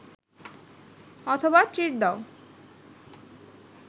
অথবা ‘ট্রিট’ দাও